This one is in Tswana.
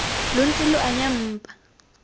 lo ntse lo anya mpa